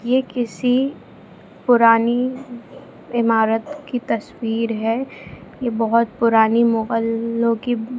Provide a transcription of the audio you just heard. ये किसी पुरानी इमारत की तस्वीर है ये बहुत पुरानी मोहल्लो की --